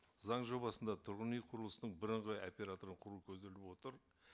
заң жобасында тұрғын үй құрылысының бірыңғай операторын құру көзделіп отыр